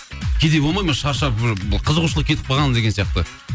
кейде болмайды ма шаршап қызығушылық кетіп қалған деген сияқты